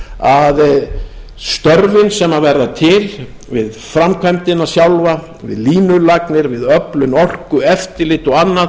að störfin sem verða til við framkvæmdina sjálfa við línulagnir við öflun orku eftirlit og annað